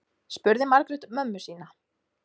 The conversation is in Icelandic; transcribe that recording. spurði margrét mömmu sína